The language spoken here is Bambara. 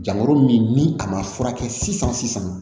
Jango min ni a ma furakɛ sisan sisan